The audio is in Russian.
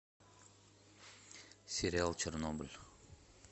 сериал чернобыль